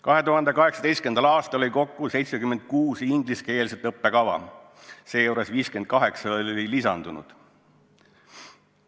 2018. aastal oli kokku 76 ingliskeelset õppekava, seejuures 58 olid lisandunud.